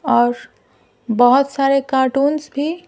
और बहुत सारे कार्टूनस भी--